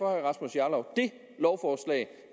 rasmus jarlov at